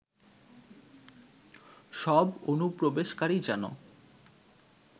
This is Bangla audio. সব অনুপ্রবেশকারী যেন